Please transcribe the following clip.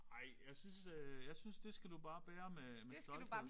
Ej jeg synes øh jeg synes det skal du bare bære med med stolthed